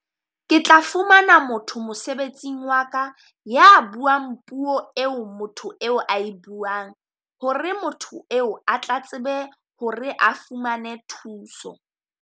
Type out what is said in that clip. Ke tla fumana motho mosebetsing wa ka, ya buang puo eo motho eo a e buang. Hore motho eo a tla tsebe ho re a fumane thuso.